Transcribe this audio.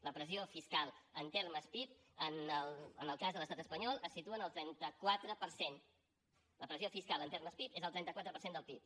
la pressió fiscal en termes pib en el cas de l’estat es panyol es situa en el trenta quatre per cent la pressió fiscal en termes pib és el trenta quatre per cent del pib